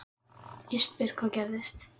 Ég spyr hvað gerðist?